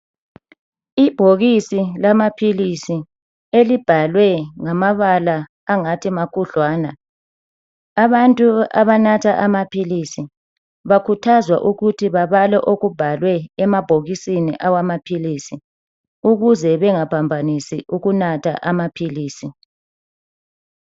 Ibhokisi lamaphilisi elibhalwe ngamabala angathi makhudlwana. Abantu abanatha amaphilisi bakhuthazwa ukuthi babale okubhalwe emabhokisini awamaphilisi ukuze bangaphambanisi ukunatha amaphilisi.